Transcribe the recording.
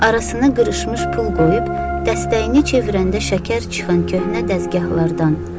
Arasına qırışmış pul qoyub dəstəyini çevirəndə şəkər çıxan köhnə dəzgahlardan.